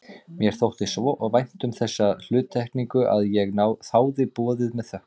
Mér þótti svo vænt um þessa hluttekningu að ég þáði boðið með þökkum.